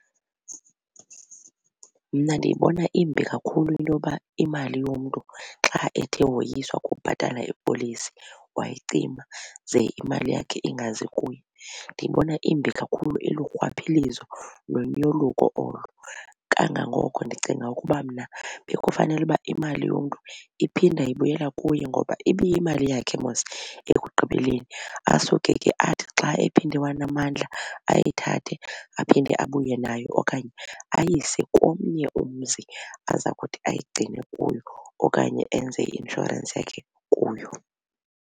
Mna ndiyibona imbi kakhulu into yoba imali yomntu xa ethe woyiswa kukubhatala ipolisi wayicima ze imali yakhe ingazi kuye. Ndiyibona imbi kakhulu ilurhwaphilizo nonyoluko olo. Kangangoko ndicinga ukuba mna bekufanele uba imali yomntu iphinda ibuyela kuye ngoba ibiyimali yakhe mos ekugqibeleni. Asuke ke athi xa ephinde wanamandla ayithathe aphinde abuye nayo okanye ayise komnye umzi aza kuthi ayigcine kuyo okanye enze i-insurance yakhe kuyo.